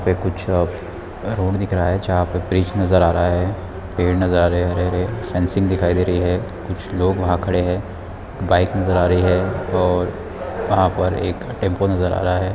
पे कुछ रोड दिख रहा है जहाँ पर ब्रिज नज़र आ रहा है पेड़ नज़र आ रहे है हरे-हरे सन सीन दिखाई दे रही है कुछ लोग वहाँ खड़े है बाइक नज़र आ रही है और वहाँ पर एक टेम्पो नज़र आ रहा है।